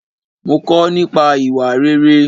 Mo kò nípa ìwà rere.